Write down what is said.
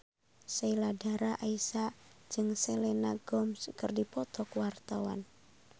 Sheila Dara Aisha jeung Selena Gomez keur dipoto ku wartawan